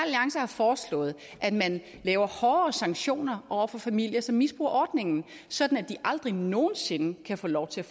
alliance har foreslået at man laver hårdere sanktioner over for familier som misbruger ordningen så de aldrig nogen sinde kan få lov til